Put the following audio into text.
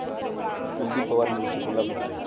कुलदीप पवार मूळचे कोल्हापूरचे.